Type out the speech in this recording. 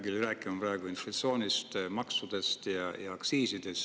Ma ei hakka rääkima inflatsioonist, maksudest ja aktsiisidest.